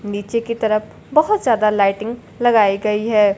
नीचे की तरफ बहोत ज्यादा लाइटिंग लगाई गई है।